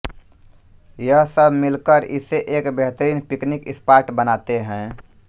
यह सब मिलकर इसे एक बेहतरीन पिकनिक स्पॉट बनाते हैं